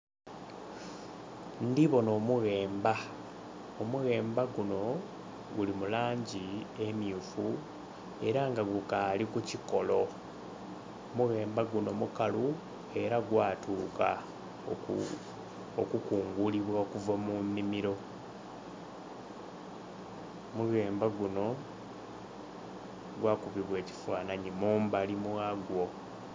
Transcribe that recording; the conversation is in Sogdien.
Ndhibona omughemba omughemba guno guli mulangi emyufu era nga gukali ku kikolo, omughemba guno mukalu era gwatuka okukungulibwa okuva mu nhimiro. Omughemba guno gwakubibwa ekifananhi mumbali mwagwo.